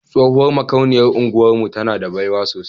Tsohuwar makauniyar unguwar mu tana da baiwa sosai.